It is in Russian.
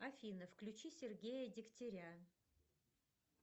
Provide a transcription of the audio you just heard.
афина включи сергея дегтеря